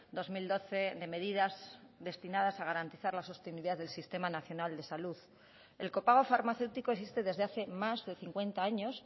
dos mil doce de medidas destinadas a garantizar la sostenibilidad del sistema nacional de salud el copago farmacéutico existe desde hace más de cincuenta años